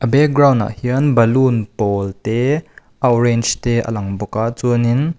background ah hian balun pawl te a awrench te a lang bawk a chuanin --